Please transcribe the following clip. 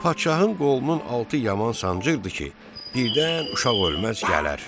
Padşahın qolunun altı yaman sancırdı ki, birdən uşaq ölməz gələr.